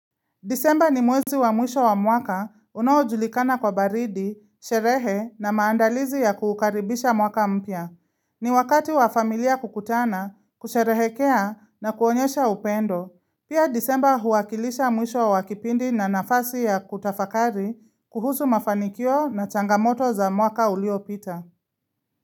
Disemba ni mwezi wa mwisho wa mwaka unaojulikana kwa baridi, sherehe na maandalizi ya kuukaribisha mwaka mpya. Ni wakati wa familia kukutana, kusherehekea na kuonyesha upendo. Pia disemba huakilisha mwisho wa kipindi na nafasi ya kutafakari kuhusu mafanikio na changamoto za mwaka ulio pita.